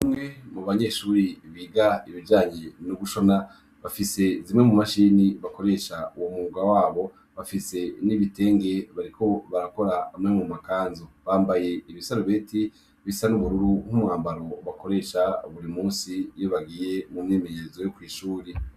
Umwe mu banyeshuri biga ibijanyi n'ugushona bafise zimwe mu mashini bakoresha uwu muga wabo bafise n'ibitenge bariko barakora amwe mu makanzu, bambaye ibisaribeti bisa n'ubururu nk'umwambaro bakoresha buri musi yo bagiye mu myemeyezo yo kw'ishuri.